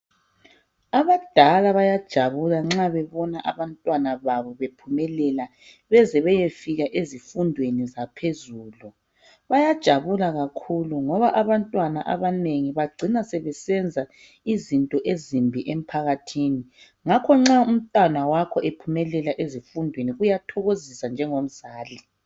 Abadala bayajabula nxa bebonacabantwana babo bephumelela beze beyefika ezifundweni zaphezulu. Bayajabula kakhulu ngoba abantwana abanengi bagcina sebesenza izinto ezimbi emphakathini ngakho nxa umntwana wakho ephumelela ezifundweni kuyathokozisa njengomzali.